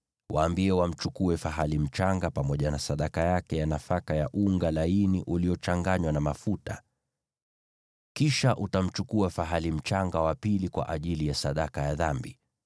Waambie wamchukue fahali mchanga pamoja na sadaka yake ya nafaka ya unga laini uliochanganywa na mafuta; kisha utamchukua fahali mchanga wa pili kwa ajili ya sadaka ya dhambi.